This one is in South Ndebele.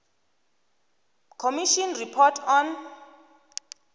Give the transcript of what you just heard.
commission report on